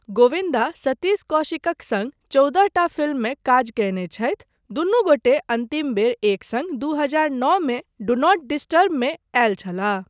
गोविन्दा सतीश कौशिकक सङ्ग चौदह टा फिल्ममे काज कयने छथि, दुनु गोटे अन्तिम बेर एक सङ्ग दू हजार नौ मे 'डू नॉट डिस्टर्ब' मे आयल छलाह।